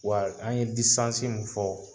Wa an ye mun fɔ